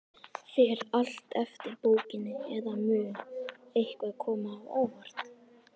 Fer allt eftir bókinni, eða mun eitthvað koma á óvart?